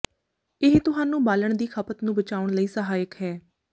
ਇਹ ਤੁਹਾਨੂੰ ਬਾਲਣ ਦੀ ਖਪਤ ਨੂੰ ਬਚਾਉਣ ਲਈ ਸਹਾਇਕ ਹੈ